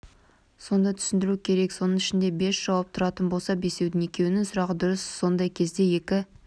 соны түсіндіру керек соның ішінде бес жауап тұратын болса бесеудің екеуінің сұрағы дұрыс сондай кезде екі